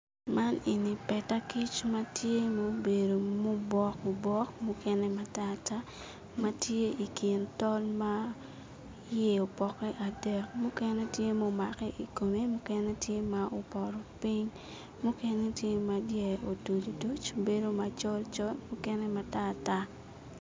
Man eni peta kic matye ma obedo ma obok obok ma obedo mukene matartar ma tye ikin tol ma iye opoke adek mukene tye ma omake ikome mukene tye ma opoto piny mukene tye ma dyere otuc otuc bedo macol col mukene matarar